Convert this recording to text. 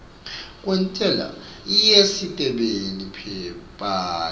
kwentsela yesisebenti paye